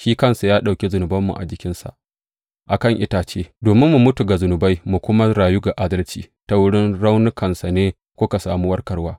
Shi kansa ya ɗauki zunubanmu a jikinsa a kan itace, domin mu mutu ga zunubai mu kuma rayu ga adalci; ta wurin raunukansa ne kuka sami warkarwa.